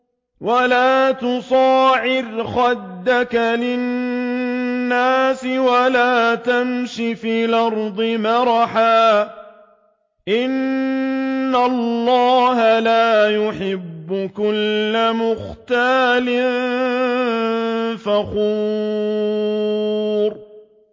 وَلَا تُصَعِّرْ خَدَّكَ لِلنَّاسِ وَلَا تَمْشِ فِي الْأَرْضِ مَرَحًا ۖ إِنَّ اللَّهَ لَا يُحِبُّ كُلَّ مُخْتَالٍ فَخُورٍ